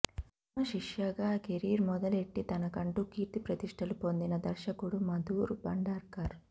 వర్మ శిష్యుగా కెరీర్ మొదలెట్టి తనకంటూ కీర్తి ప్రతిష్టలు పొందిన దర్శకుడు మధూర్ భండార్కర్